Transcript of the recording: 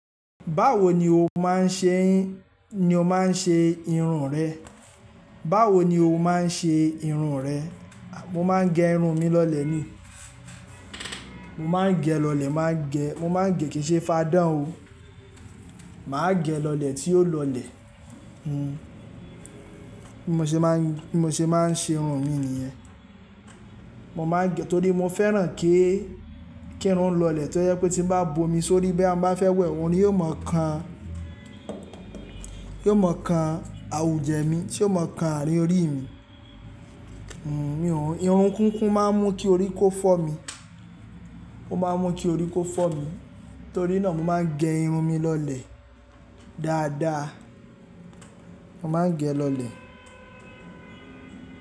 Báwo ni o máa ń ṣe, ni o máa ń ṣe irun rẹ? Báwo ni o máa ń ṣe irun rẹ? Mo máa ń gẹ irun mi lọlẹ̀ ni. Mo máa ń gẹ lọlẹ̀, máa gẹ, mo máa ń gẹ kìí ṣe fadán o. Mà á gẹ lọ̀lẹ́ tí yóò lọlẹ̀. Hm. Bí mo ṣe máa ń, bí mo ṣe máa ń ṣe irun mi nìyẹn. Mo máa ń gẹ torí mo fẹ́ràn kí, kí irun lọlẹ̀ tó jẹ pé tí n bá bomi sórí boya mo ba fẹ́ wẹ̀, òmin ò mọ̀ kan, yóò mọ̀ kan àwùjẹ mi, yóò mọ̀ kan àárín orí mi. Hm. Irun kúnkún máa ń mú kí orí kó fọ́ mi. Ó máa ń mú kí orí kó fọ́ mi. Torí náà mo máa ń gẹ irun mi lọlẹ̀ dáadáa. Mo máa ń gẹ lọlẹ̀.